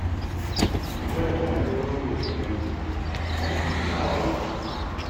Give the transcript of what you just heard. Ki gwada garin rogo ki gani, ya fi fulawa auki